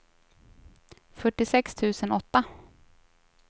fyrtiosex tusen åtta